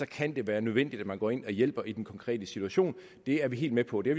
kan det være nødvendigt at man går ind og hjælper i den konkrete situation det er vi helt med på det